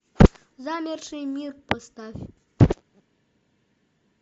замерший мир поставь